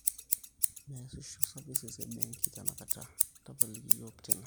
meesisho services e benki tenakata, tapaliki iyiook tina